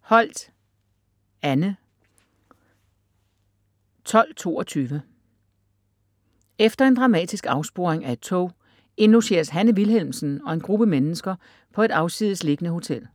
Holt, Anne: 1222 Efter en dramatisk afsporing af et tog indlogeres Hanne Wilhelmsen og en gruppe mennesker på et afsides liggende hotel.